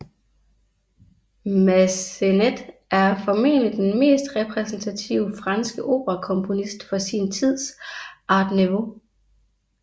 Masssenet er formentlig den mest repræsentative franske operakomponist for sin tids art nouveau